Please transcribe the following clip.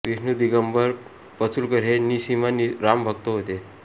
विष्णू दिगंबर पलुसकर हे निःसीम राम भक्त होते